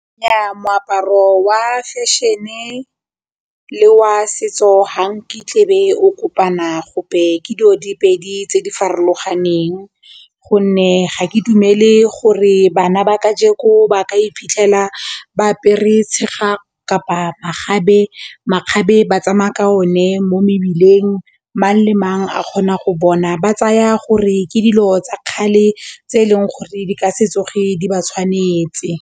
Nnyaa, moaparo wa fashion-e le wa setso ha nkitla be o kopana gope ke dijo diopedi tse di farologaneng gonne ga ke dumele gore bana ba ka jeko ba ka iphitlhela ba apere tshega kapa makgabe ba tsamaya ka o ne mo mebileng mang le mang a kgona go bona, ba tsaya gore ke dilo tsa kgale tse eleng gore di ka setso ge di ba tshwanetse.